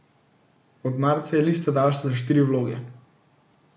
Od marca je lista daljša za štiri vloge.